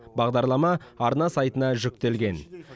бағдарлама арна сайтына жүктелген